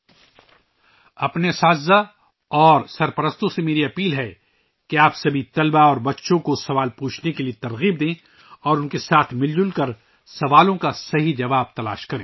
میری اساتذہ اور والدین سے درخواست ہے کہ وہ تمام طلباء اور بچوں کو سوالات کرنے کی ترغیب دیں اور ان کے ساتھ مل کر سوالات کے صحیح جوابات تلاش کریں